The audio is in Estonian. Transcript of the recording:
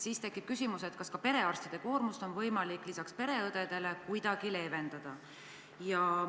Siis tekib küsimus, kas peale pereõdede oleks ka perearstide koormust võimalik kuidagi leevendada.